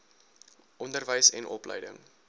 onderwys en opleiding